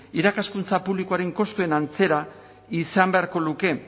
irakaskuntza publikoaren kostuen antzera izan beharko luke